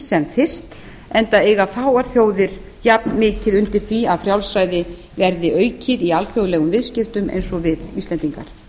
sem fyrst enda eiga fáar þjóðir jafn mikið undir því að frjálsræði verði aukið í alþjóðlegum viðskiptum eins og við íslendingar